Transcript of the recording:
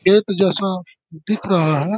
खेत जैसा दिख रहा है।